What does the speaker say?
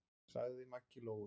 sagði Maggi Lóu.